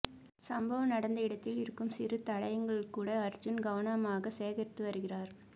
சம்பவம் நடந்த இடத்தில் இருக்கும் சிறு தயடங்களை கூட அர்ஜுன் கவனமாக சேகரித்து வருகிறார்